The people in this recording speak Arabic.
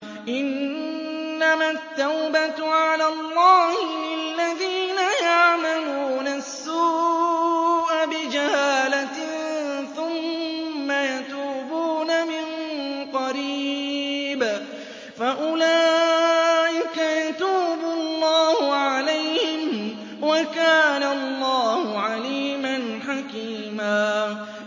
إِنَّمَا التَّوْبَةُ عَلَى اللَّهِ لِلَّذِينَ يَعْمَلُونَ السُّوءَ بِجَهَالَةٍ ثُمَّ يَتُوبُونَ مِن قَرِيبٍ فَأُولَٰئِكَ يَتُوبُ اللَّهُ عَلَيْهِمْ ۗ وَكَانَ اللَّهُ عَلِيمًا حَكِيمًا